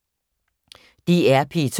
DR P2